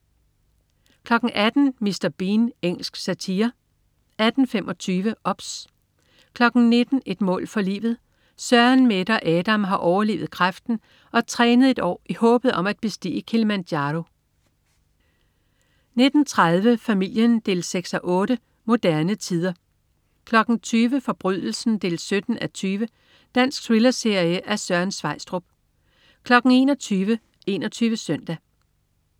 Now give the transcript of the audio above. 18.00 Mr. Bean. Engelsk satire 18.25 OBS 19.00 Et mål for livet. Søren, Mette og Adam har overlevet kræften og trænet et år i håbet om at bestige Kilimanjaro 19.30 Familien 6:8. Moderne tider 20.00 Forbrydelsen 17:20. Dansk thrillerserie af Søren Sveistrup 21.00 21 Søndag